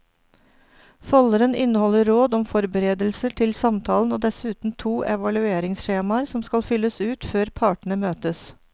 Folderen inneholder råd om forberedelser til samtalen og dessuten to evalueringsskjemaer som skal fylles ut før partene møtes.